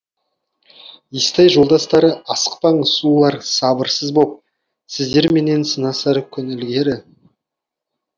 естай жолдастарыасықпаңыз сұлулар сабырсыз боп сіздерменен сынасар күн ілгері